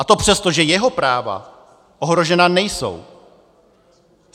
A to přesto, že jeho práva ohrožena nejsou.